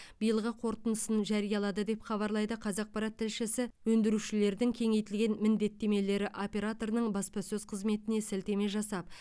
биылғы қорытындысын жариялады деп хабарлайды қазақпарат тілшісі өндірушілердің кеңейтілген міндеттемелері операторының баспасөз қызметіне сілтеме жасап